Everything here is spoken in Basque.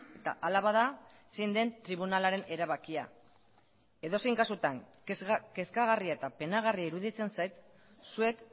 eta hala bada zein den tribunalaren erabakia edozein kasutan kezkagarria eta penagarria iruditzen zait zuek